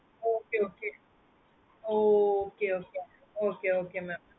okay okay oh okay okay mam